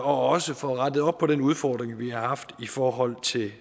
også får rettet op på den udfordring vi har haft i forhold til